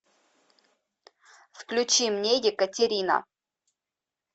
включи мне екатерина